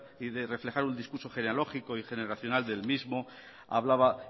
y de reflejar un discurso genealógico y generacional del mismo hablaba